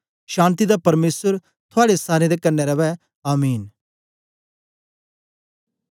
शान्ति दा परमेसर थुआड़े सारें दे कन्ने रवै आमीन